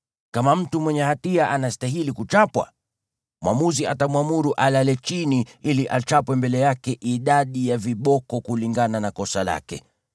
Kama mtu mwenye hatia anastahili kuchapwa, mwamuzi atamwamuru alale chini ili achapwe mbele yake idadi ya viboko kulingana na kosa lake,